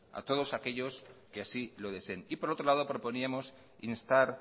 a todos aquellos que así lo deseen y por otro lado proponíamos instar